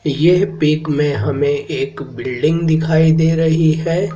ये पिक में हमें एक बिल्डिंग दिखाई दे रही है।